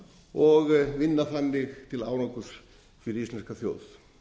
og vinna þannig til árangurs fyrir íslenska þjóð